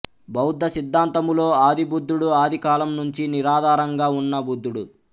బౌద్ధ సిద్ధాంతములో ఆదిబుద్ధుడు ఆదికాలం నుంచీ నిరాధారంగా ఉన్న బుద్ధుడు